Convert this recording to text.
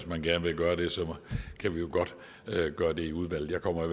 man gerne vil gøre det kan vi jo godt gøre det i udvalget jeg kommer